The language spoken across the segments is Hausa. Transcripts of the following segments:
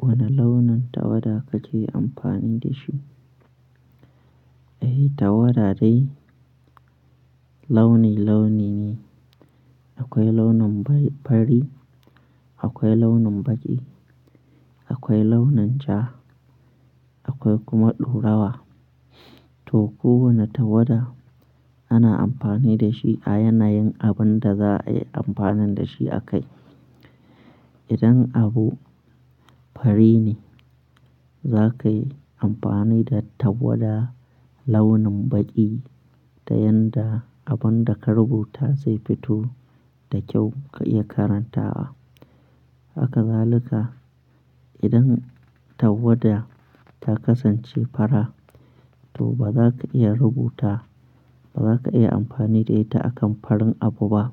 Wanne launin tawada kake amfani da shi? Eh, tawada dai launi-launi ne. Akwai launin fari, akwai launin baƙi, akwai launin ja, akwai kuma ɗorawa. To, kowanne tawada ana amfani da shi a yanayin abun da za a yi amfanin da shi a kai. Idan abu fari ne, za ka yi amfani da tawada launin baƙi ta yanda abun da ka rubuta zai fito da kyau ka iya karanta. Haka zalika, idan tawada ta kasance fara, to ba za ka iya rubuta, ba za ka iya amfani da ita akan farin abu ba.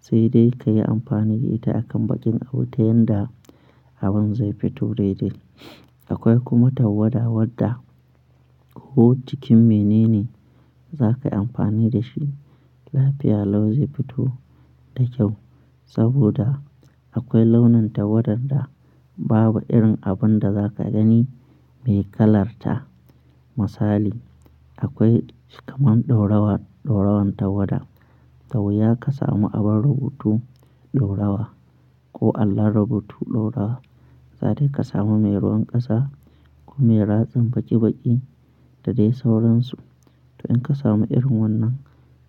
Sai dai ka yi amfani da ita a kan baƙin abu ta yanda abun zai fito daidai. Akwai kuma tawada wadda ko cikin menene za ka yi amfani da shi, lafiya lau zai fito da kyau. Saboda akwai launin tawadar da babu irin abun da za ka gani mai kalarta. Misali, akwai kamar ɗorawan, ɗaurawan tawada. Da wuya ka samu abin rubutu ɗorawa ko allon rubutu ɗorawa, sai dai ka samu mai ruwan ƙasa ko mai ratsin baƙi-baƙi da dai sauransu. To in ka samu irin wannan,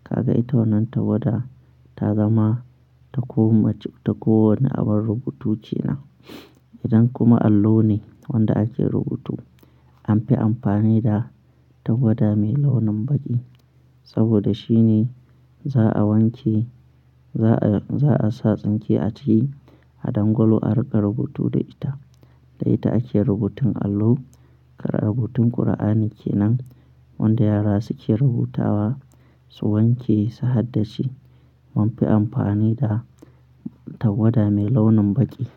ka ga ita wannan tawada ta zama ta ko mace ta ko wanne abun rubutu kenan. Idan kuma allo ne wanda ake rubutu, an fi amfani da tawada mai launin baƙi. Saboda shine za a wanke, za a, za a sa tsinke a ciki a dangwalo a riƙa rubutu da ita. Da ita ake rubutun allo. Kamar rubutun Kur'ani kenan wanda yara suke rubutawa, su wanke su haddace, mun fi amfani da tawada mai launin baƙi.